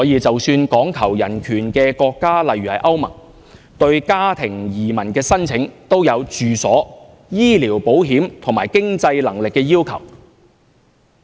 即使講求人權的國家，例如歐洲聯盟，對家庭移民的申請，也有住所、醫療保險及經濟能力的要求。